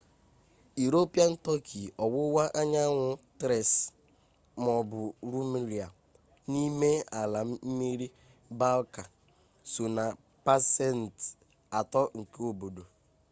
iropian tọki ọwụwa anyanwụ tres maọbụ rumelia n'ime ala mmiri balka so na pasent 3 nke obodo